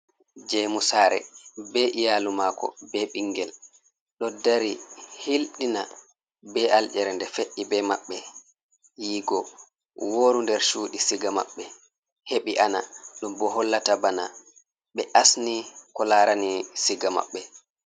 Jemu sare be iyalu mako be ɓingel ɗo dari hilɗina be alƴerede fe’i be maɓɓe yigo wooru nder cuɗi siga maɓɓe heɓi ana ɗum bo hollata bana ɓe asni ko larani siga maɓɓe.